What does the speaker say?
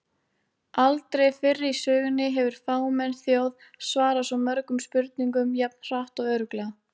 Aldrei fyrr í sögunni hefur fámenn þjóð svarað svo mörgum spurningum jafn hratt og örugglega!